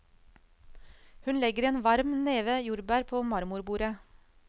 Hun legger en varm neve jordbær på marmorbordet.